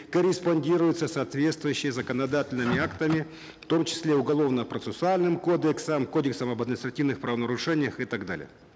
корреспондируются соответствующми законодательными актами в том числе уголовно процессуальным кодексом кодексом об административных правонарушениях и так далее